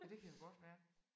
Ja det kan jo godt være